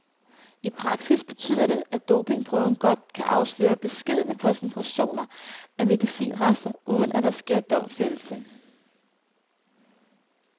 I praksis betyder det, at dopingprøven godt kan afsløre beskedne koncentrationer af medicinrester, uden at der sker domfældelse.